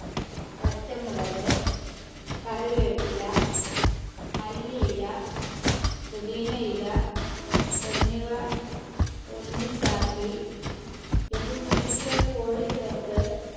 പച്ചമുളക് കറിവേപ്പില മല്ലിയില പൊതിനയില എന്നിവ ഒന്നിച്ചാക്കി ഇതിൽ ചിക്കിയ കോഴി ചേർത്ത്